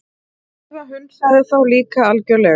Drífa hunsaði þá líka algjörlega.